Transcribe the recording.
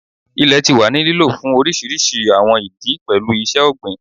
Ilẹ ti wa ni lilo fun awọn oriṣiriṣi awọn idi, pẹlu iṣẹ-ogbin